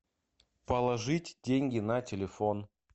положить деньги на телефон